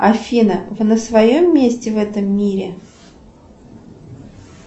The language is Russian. афина вы на своем месте в этом мире